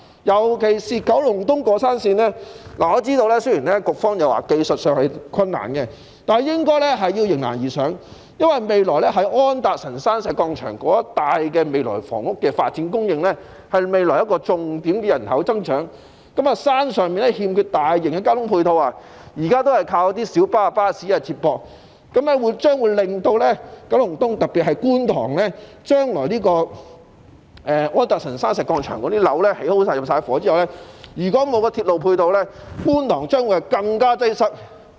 尤其是九龍東過山綫，我知道雖然局方表示技術上是困難的，但也應該迎難而上，因為未來在安達臣道石礦場一帶的房屋發展，將會是未來的人口增長重點，山上欠缺大型的交通配套，現時也只是依賴小巴和巴士接駁，日後將會對九龍東造成影響，特別是觀塘，在安達臣道石礦場的樓宇完工和入伙後，如果沒有鐵路配套，觀塘的交通將會更為擠塞。